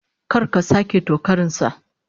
Kar ka sake tokarin sa!